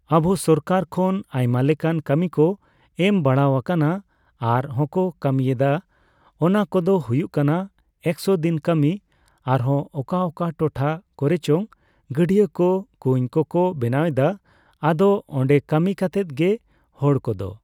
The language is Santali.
ᱟᱵᱚ ᱥᱚᱨᱠᱟᱨ ᱠᱷᱚᱱ ᱟᱭᱢᱟ ᱞᱮᱠᱟᱱ ᱠᱟᱹᱢᱤ ᱠᱚ ᱮᱢ ᱵᱟᱲᱟᱣ ᱟᱠᱟᱱᱟ ᱟᱨ ᱦᱚᱸᱠᱚ ᱠᱟᱹᱢᱤᱭ ᱮᱫᱟ ᱾ᱚᱱᱟ ᱠᱚᱫᱚ ᱦᱩᱭᱩᱜ ᱠᱟᱱᱟ ᱮᱠᱥᱚ ᱫᱤᱱ ᱠᱟᱹᱢᱤ ᱟᱨᱦᱚᱸ ᱚᱠᱟ ᱚᱠᱟ ᱴᱚᱴᱷᱟ ᱠᱚᱨᱮᱪᱚ ᱜᱟᱹᱰᱭᱟᱹᱠᱚ, ᱠᱩᱧ ᱠᱚᱠᱚ ᱵᱮᱱᱟᱣ ᱮᱫᱟ ᱾ ᱟᱫᱚ ᱚᱸᱰᱮ ᱠᱟᱹᱢᱤ ᱠᱟᱛᱮᱫ ᱜᱮ ᱦᱚᱲᱠᱚᱫᱚ